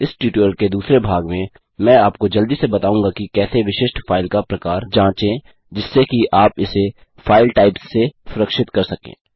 इस ट्यूटोरियल के दूसरे भाग में मैं आपको जल्दी से बताऊँगा कि कैसे विशिष्ट फाइल का प्रकार जाँचे जिससे कि आप इसे फाइल टाइप्स से सुरक्षित कर सकें